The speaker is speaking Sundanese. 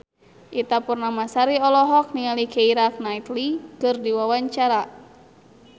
Ita Purnamasari olohok ningali Keira Knightley keur diwawancara